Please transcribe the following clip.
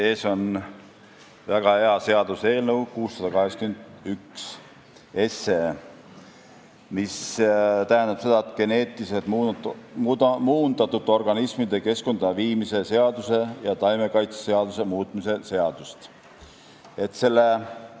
Teie ees on väga hea seaduseelnõu 681, geneetiliselt muundatud organismide keskkonda viimise seaduse ja taimekaitseseaduse muutmise seaduse eelnõu.